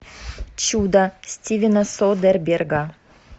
чудо стивена содерберга